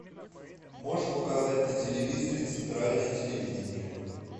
можешь показать на телевизоре центральное телевидение